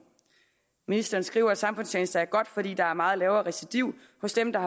ministeren skriver at samfundstjeneste er godt fordi der er meget lavere recidiv hos dem der